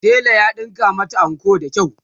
tela ya ɗinka mata anko da kyau.